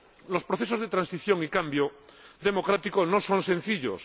Los procesos de transición y cambio democrático no son sencillos.